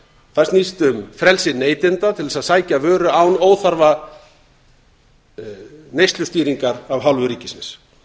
það snýst um frelsi neytenda til þess að sækja vöru án óþarfa neyslustýringar af hálfu ríkisins